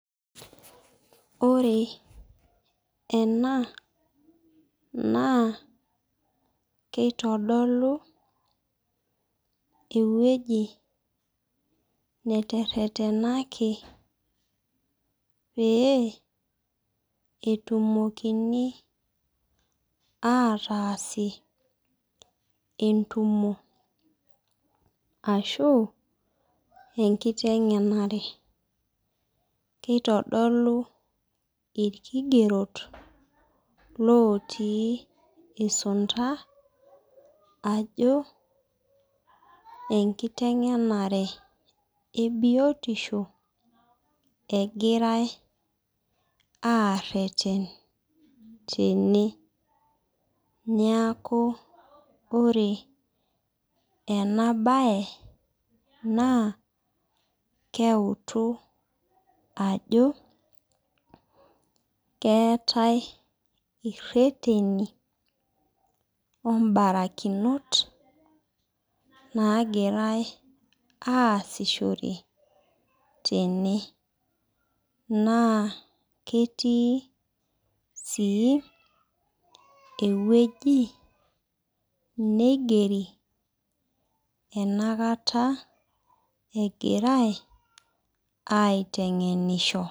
Ore ena naa kitodolu eweji neteretenaki pee etumoki ataasie entumo. Ashu enkitengenare, keitodu irkigerot otii isunta ajo enkitengena ebiotisho egirae areten tene. Neeku ore ena bae naa keutu ajo keetae ireteni ombarakinot naagirae aasishore tene. Naa ketii sii eweji neigeri enakata egirae aitengenisho.